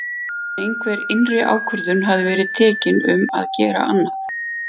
En einhver innri ákvörðun hafði verið tekin um að gera annað.